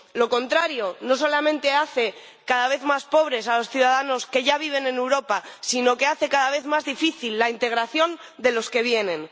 Lo contrario no solamente hace cada vez más pobres a los ciudadanos que ya viven en Europa, sino que hace cada vez más difícil la integración de los que vienen.